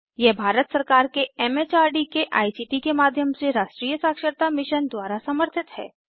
यह भारत सरकार के एम एच आर डी के आई सी टी के माध्यम से राष्ट्रीय साक्षरता मिशन द्वारा समर्थित है